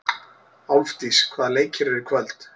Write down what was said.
Álfdís, hvaða leikir eru í kvöld?